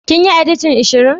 Kin yi editin shirin.